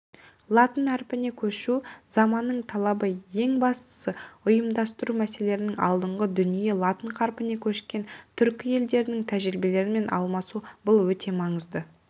латын әрпіне көшу заманның талабы ең бастысы ұйымдастыру мәселелерінің алдындағы дүние латын қарпіне көшкен түркі елдерінің тәжірибелерімен алмасу бұл өте маңызды